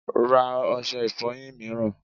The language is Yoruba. Ra ọṣẹ ìfọyín mìíràn!